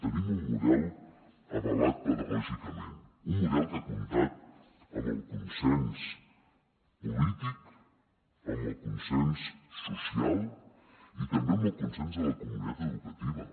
tenim un model avalat pedagògicament un model que ha comptat amb el consens polític amb el consens social i també amb el consens de la comunitat educativa